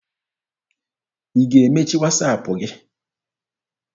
Ị ga-emechi Wasaapụ gị!